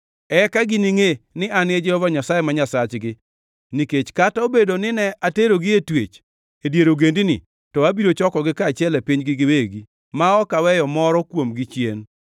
Eka giningʼe ni An e Jehova Nyasaye ma Nyasachgi, nikech kata obedo nine aterogi e twech e dier ogendini, to abiro chokogi kaachiel e pinygi giwegi, ma ok aweyo moro kuomgi chien.